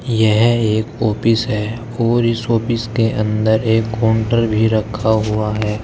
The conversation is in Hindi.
यह एक ऑफिस है और इस ऑफिस के अंदर एक काउंटर भी रखा हुआ है।